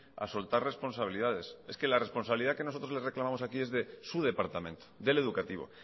a soltar responsabilidades es que la responsabilidad que nosotros le reclamamos aquí es de su departamento del educativo